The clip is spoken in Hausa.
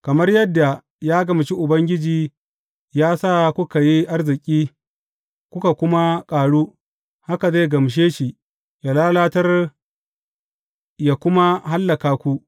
Kamar yadda ya gamshi Ubangiji ya sa kuka yi arziki kuka kuma ƙaru, haka zai gamshe shi yă lalatar yă kuma hallaka ku.